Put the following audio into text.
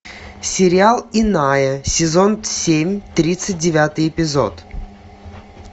сериал иная сезон семь тридцать девятый эпизод